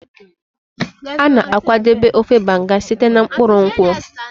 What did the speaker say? A na-akwadebe ofe Banga site na mkpụrụ nkwụ.